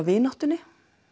vináttunni